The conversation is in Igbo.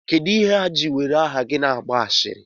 Kedụ ihe ha ji were aha gị na-agba ashịrị?